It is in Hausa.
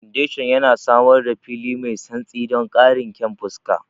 Foundation yana samar da fili mai santsi don ƙarin kyan siffa.